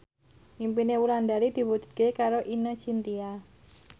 impine Wulandari diwujudke karo Ine Shintya